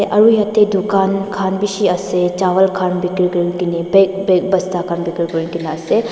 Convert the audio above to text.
aro yate dukan khan beshi ase chawal khan begiri kurikena bag bag bosta khan begiri kurikena ase.